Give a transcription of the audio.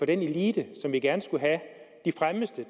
den elite som vi gerne skulle have de fremmeste